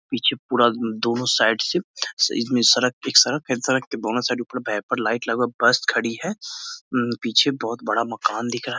पीछे पूरा दोनों साइड से इसमें सड़क एक सड़क है सड़क के दोनों साइड ऊपर वेपर लाइट लगा बस खड़ी है पीछे बहुत बड़ा मकान दिख रहा है।